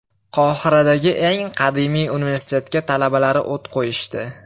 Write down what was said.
Qohiradagi eng qadimiy universitetga talabalari o‘t qo‘yishdi.